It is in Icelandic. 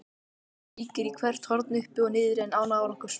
Kíkir í hvert horn uppi og niðri en án árangurs.